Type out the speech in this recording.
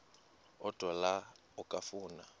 odwa la okafuna